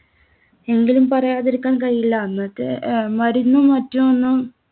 എങ്കിലും പറയാതിരിക്കാൻ കഴിയില്ല. അന്നത്തെ അഹ് മരുന്നും മറ്റും ഒന്നും